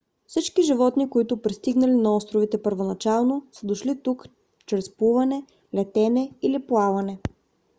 всички животни които пристигнали на островите първоначално са дошли тук чрез плуване летене или плаване